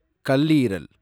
கல்லீரல்